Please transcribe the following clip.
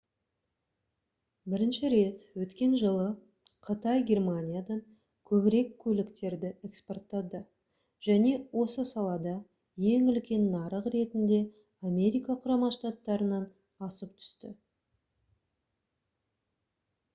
бірінші рет өткен жылы қытай германиядан көбірек көліктерді экспорттады және осы салада ең үлкен нарық ретінде америка құрама штаттарынан асып түсті